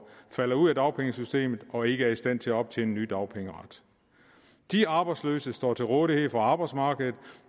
falder ud af dagpengesystemet og ikke er i stand til at optjene ny dagpengeret de arbejdsløse står til rådighed for arbejdsmarkedet